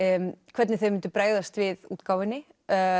hvernig þau mundu bregðast við útgáfunni